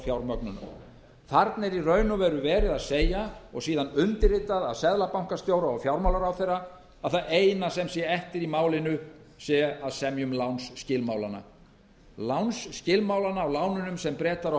forfjármögnunar þarna er í raun og veru verið að segja og síðan undirritað af seðlabankastjóra og fjármálaráðherra að það eina sem er eftir í málinu sé að semja um lánsskilmálana lánsskilmálana á lánunum sem bretar og